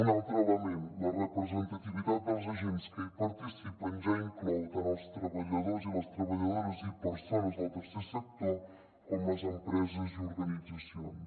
un altre element la representativitat dels agents que hi participen ja inclou tant els treballadors i les treballadores i persones del tercer sector com les empreses i organitzacions